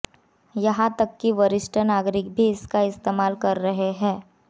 यहां तक कि वरिष्ठ नागरिक भी इसका इस्तेमाल कर रहे हैं